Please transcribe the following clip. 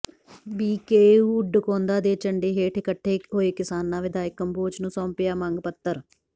BKU Dakaunda ਦੇ ਝੰਡੇ ਹੇਠ ਇਕੱਠੇ ਹੋਏ ਕਿਸਾਨਾਂ ਵਿਧਾਇਕ ਕੰਬੋਜ ਨੂੰ ਸੌਂਪਿਆ ਮੰਗ ਪੱਤਰ